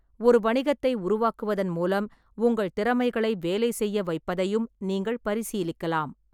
ஒரு வணிகத்தை உருவாக்குவதன் மூலம் உங்கள் திறமைகளை வேலை செய்ய வைப்பதையும் நீங்கள் பரிசீலிக்கலாம்.